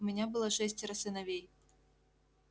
у меня было шестеро сыновей